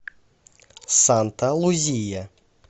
санта лузия